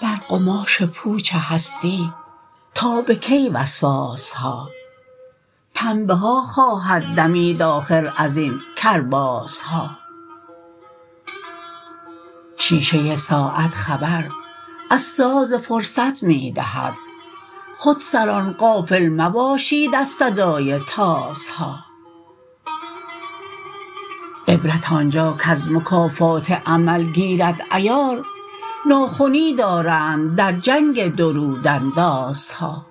بر قماش پوچ هستی تا به کی وسواس ها پنبه ها خواهد دمید آخر ازین کرباس ها شیشه ساعت خبر از ساز فرصت می دهد خودسران غافل مباشید از صدای طاس ها عبرت آنجا کز مکافات عمل گیرد عیار ناخنی دارند در جنگ درودن داس ها